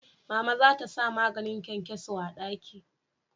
Mama za ta sa maganin kyankyaso a daki